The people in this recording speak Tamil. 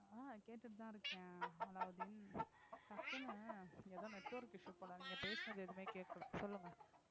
அஹ் கேட்டுட்டுதான் இருக்கேன் அலாவுதீன் டக்குன்னு ஏதோ network issue போல நீங்க பேசினது எதுவுமே கேட்கலை சொல்லுங்க